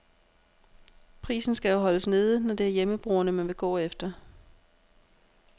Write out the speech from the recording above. Prisen skal jo holdes nede, når det er hjemmebrugerne, man vil gå efter.